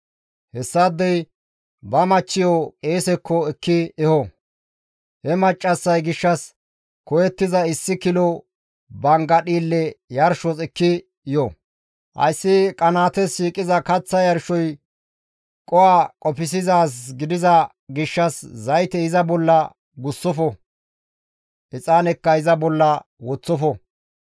Hessaadey ba machchiyo qeesekko ekki eho; he maccassay gishshas koyettiza issi kilo bangga dhiille yarshos ekki yo; hayssi qanaates shiiqiza kaththa yarshoy qoho qofsizaaz gidiza gishshas zayte iza bolla gussofo; exaanekka iza bolla woththofo.